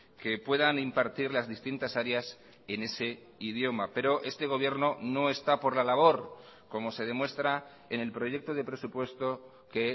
que puedan impartir las distintas áreas en ese idioma pero este gobierno no está por la labor como se demuestra en el proyecto de presupuesto que